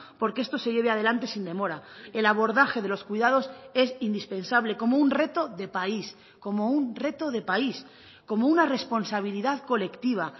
porque esto se lleve adelante sin demora el abordaje de los cuidados es indispensable como un reto de país como un reto de país como una responsabilidad colectiva